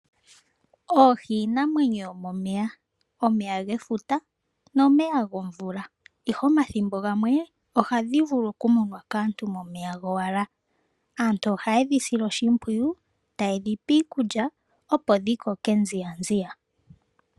Oohi iinamwenyo yomomeya omeya gefuta nomeya gomvula ihe omathimbo gamwe ohadhi vulu okumunwa kaantu momeya gowala. Aantu oha ye dhi sile oshimpwiyu taye dhipe iikulya opo dhi koke nziya nziya.